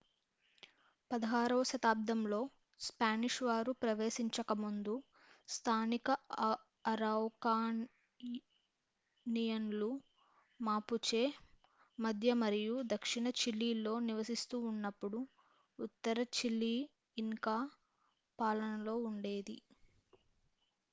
16వ శతాబ్దంలో స్పానిష్ వారు ప్రవేశించకముందు స్థానిక అరౌకానియన్లు మాపుచె మధ్య మరియు దక్షిణ చిలీలో నివసిస్తూ ఉన్నప్పుడు ఉత్తర చిలీ ఇన్కా పాలనలో ఉండేది